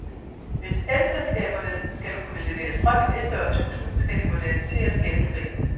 Hvis elselskaberne skal kunne levere strøm i næste årtusind, skal de moderniseres gennemgribende.